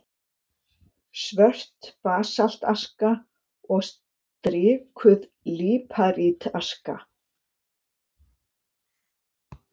Svört basaltaska og strikuð líparítaska.